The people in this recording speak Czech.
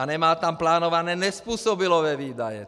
A nemá tam plánované nezpůsobilé výdaje.